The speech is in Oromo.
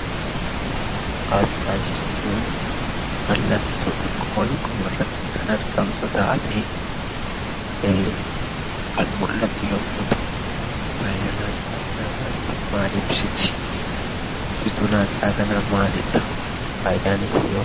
Asxaa jechuun mallattoo xiqqoo wayii qomarratti kan argamtu taatee kan mul'attu yommuu ta'u, faayidaan asxaa kanaa maali? Maal ibsiti? Ibsituun asxaa kanaa maalidha? Faayidaan isheehoo?